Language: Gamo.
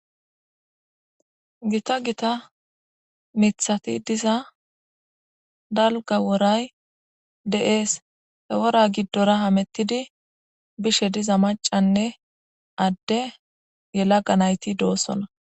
gita gita mithati diza dalga woray de7ees hewora giddora hamettidi bishe diza macanne adde yela ga nayti doosola